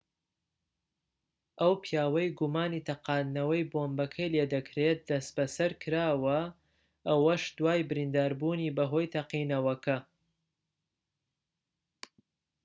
ئەو پیاوەی گومانی تەقاندنەوەی بۆمبەکەی لێدەکرێت دەستبەسەرکراوە ئەوەش دوای برینداربوونی بەهۆی تەقینەوەکە